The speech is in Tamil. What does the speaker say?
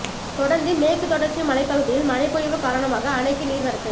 தொடர்ந்து மேற்கு தொடர்ச்சி மலைப் பகுதியில் மழைப்பொழிவு காரணமாக அணைக்கு நீர்வரத்து